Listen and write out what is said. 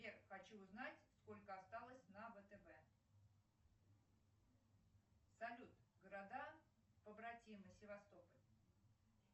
сбер хочу узнать сколько осталось на втб салют города побратимы севастополь